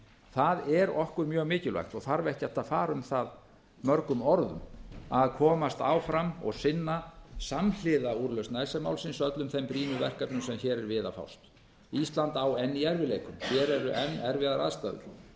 það er okkur mjög mikilvægt og þarf ekkert að fara um það mörgum orðum að komast áfram og sinna samhliða úrlausn icesave málsins öllum þeim brýnu verkefnum sem hér er við að fást ísland á enn í erfiðleikum hér eru enn erfiðar aðstæður og